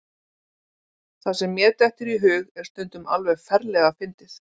Það sem mér dettur í hug er stundum alveg ferlega fyndið.